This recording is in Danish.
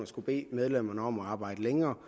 skal bede medlemmerne om at arbejde længere